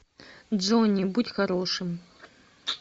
джонни будь хорошим